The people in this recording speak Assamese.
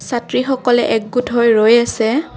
ছাত্ৰীসকলে একগোট হৈ ৰৈ আছে।